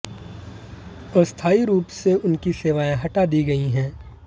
अस्थायी रूप से उनकी सेवाएं हटा दी गई हैं